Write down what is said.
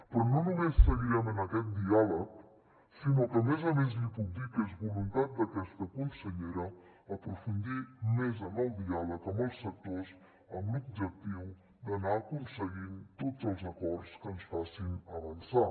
però no només seguirem en aquest diàleg sinó que a més a més li puc dir que és voluntat d’aquesta consellera aprofundir més en el diàleg amb els sectors amb l’objectiu d’anar aconseguint tots els acords que ens facin avançar